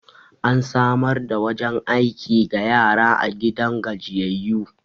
an samar da wajen aiki ga yara a gidan gajiyayyu